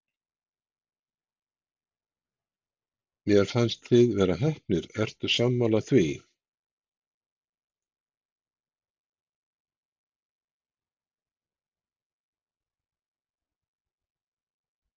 Mér fannst þið vera heppnir, ertu sammála því?